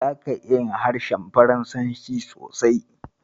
Zaka iya yin harshen turanci sosai.